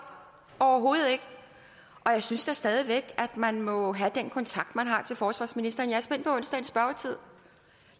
overhovedet ikke jeg synes da stadig væk at man må have den kontakt man har til forsvarsministeren jeg